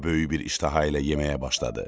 O böyük bir iştaha ilə yeməyə başladı.